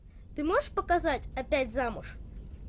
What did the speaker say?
ты можешь показать опять замуж